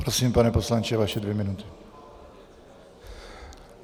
Prosím, pane poslanče, vaše dvě minuty.